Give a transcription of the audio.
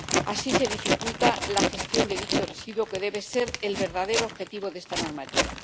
Así se dificulta la gestión de dicho residuo, que debe ser el verdadero objetivo de esta normativa.